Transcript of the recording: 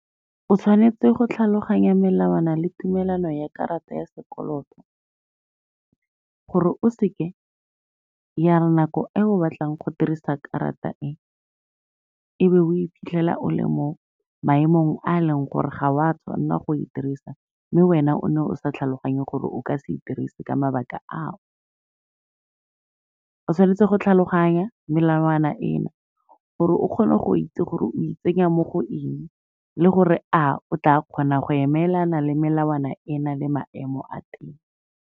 O tshwanetse go tlhaloganya melawana le tumelano ya karata ya sekoloto, gore o seke ya re nako e o batlang go dirisa karata e, e be o iphitlhela o le mo maemong a leng gore ga wa tshwanela go e dirisa, mme wena o ne o sa tlhaloganye gore o ka se dirise ka mabaka ao. O tshwanetse go tlhaloganya melawana ena, gore o kgone go itse gore o itsenya mo go eng le gore a o tla kgona go emelana le melawana ena le maemo a teng.